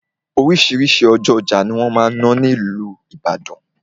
Oríṣiríṣi ọjọ́ ọjà ni wọ́n máa n ṣe ní ìlú Ìbàdàn.